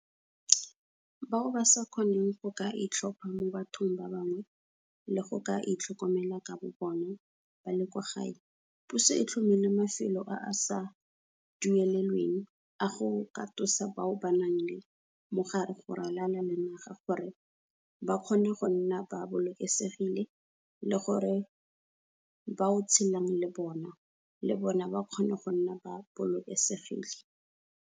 Bao ba sa kgoneng go ka itlhopha mo bathong ba bangwe le go ka itlhokomela ka bobona ba le kwa gae, puso e tlhomile mafelo a a sa duelelweng a go katosa bao ba nang le mogare go ralala le naga gore ba kgone go nna ba bolokesegile le gore ba o tshelang le bona le bona ba kgone go nna ba bolokesegile.